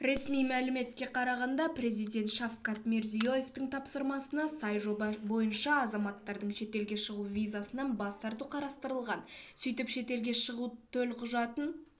ресми мәліметке қарағанда президент шавкат мирзияевтің тапсырмасына сай жоба бойынша азаматтардың шетелге шығу визасынан бас тарту қарастырылған сөйтіп шетелге шығу төлқұжатын